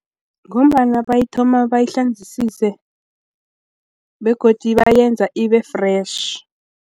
Ngombana bayithoma bayihlanzisise begodu bayenza ibe-fresh.